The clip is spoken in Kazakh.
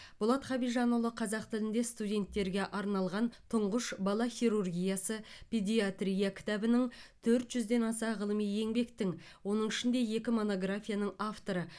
болат хабижанұлы қазақ тілінде студенттерге арналған тұңғыш бала хирургиясы педиатрия кітабінің төрт жүзден аса ғылыми еңбектің оның ішінде екі монографияның авторы